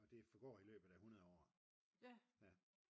og det forgår i løbet af 100 år